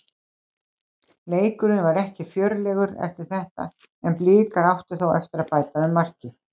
Leikurinn var ekki fjörlegur eftir þetta en Blikar áttu þó eftir að bæta við marki.